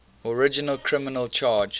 original criminal charge